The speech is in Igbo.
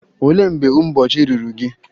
Olee mgbe ụbọchị ruru gị?